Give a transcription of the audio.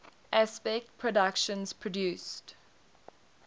aspect productions produced